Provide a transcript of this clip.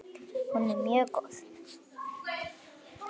Hún er mjög góð.